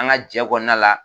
An ka jɛ kɔnɔna la